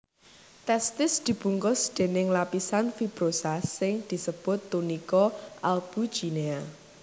Testis dibungkus déning lapisan fibrosa sing disebut tunika albuginea